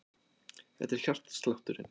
Þetta er hjartslátturinn.